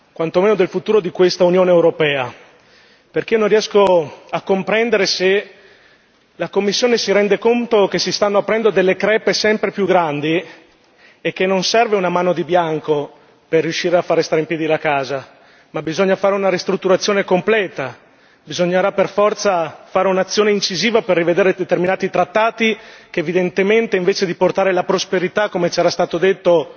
quanto meno, del futuro di quest'Unione europea, perché non riesco a comprendere se la Commissione si rende conto che si stanno aprendo delle crepe sempre più grandi e che non serve una mano di bianco per riuscire a far restare in piedi la casa, ma bisogna fare una ristrutturazione completa. Bisognerà per forza fare un'azione incisiva per rivedere determinati trattati che, evidentemente, invece di portare la prosperità come c'era stato detto